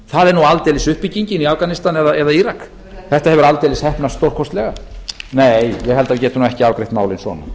það er nú aldeilis uppbyggingin í afganistan eða írak þetta hefur aldeilis heppnast stórkostlega nei ég held að við getum ekki afgreitt málið svona